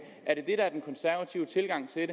er det den konservative tilgang til